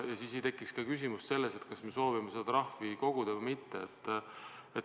Siis ei tekiks ka küsimust, kas me soovime seda trahvi koguda või mitte.